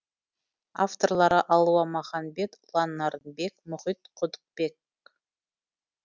авторлары алуа маханбет ұлан нарынбек мұхит құдықбек